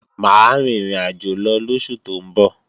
Mà á rin ìrìnàjò lóṣù tó ń bọ̀